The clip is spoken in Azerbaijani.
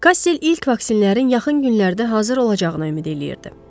Kastel ilk vaksinlərin yaxın günlərdə hazır olacağına ümid eləyirdi.